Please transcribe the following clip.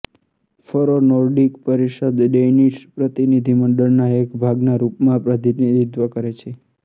ફરો નૉર્ડિક પરિષદ ડૈનીશ પ્રતિનિધિમંડળના એક ભાગના રૂપમાં પ્રતિનિધિત્વ કરે છે